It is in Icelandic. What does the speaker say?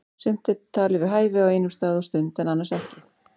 Sumt er talið við hæfi á einum stað og stund en annars ekki.